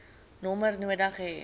nommer nodig hê